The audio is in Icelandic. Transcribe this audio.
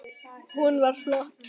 Hún var flott.